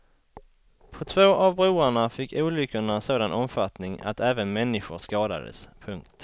På två av broarna fick olyckorna sådan omfattning att även människor skadades. punkt